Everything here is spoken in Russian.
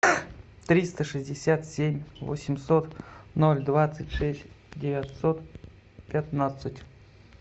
триста шестьдесят семь восемьсот ноль двадцать шесть девятьсот пятнадцать